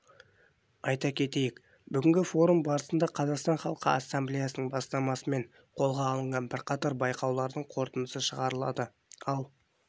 айта кетейік бүгінгі форум барысында қазақстан іалқы ассамблеясының бастамасымен қолға алынған бірқатар байқауларлың қорытындысы шығарылады ал